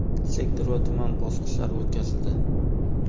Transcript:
sektor va tuman bosqichlari o‘tkazildi.